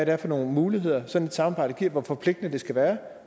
er for nogle muligheder sådan et samarbejde giver og hvor forpligtende det skal være